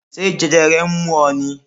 Ṣé jẹjẹrẹ ń mú ọ ni?